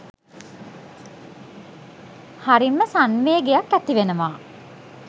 හරිම සංවේගයක් ඇති වෙනවා